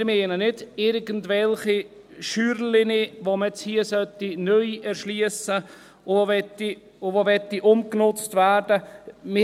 Wir meinen nicht irgendwelche kleinen Scheunen, die man nun hier neu erschliessen sollte und die umgenutzt werden wollen.